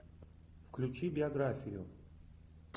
включи биографию